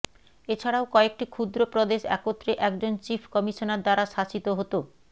এছাড়াও কয়েকটি ক্ষুদ্র প্রদেশ একত্রে একজন চীফ কমিশনার দ্বারা শাসিত হতঃ